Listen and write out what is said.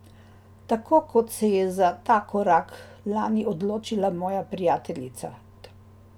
Tako kot se je za ta korak lani odločila moja prijateljica.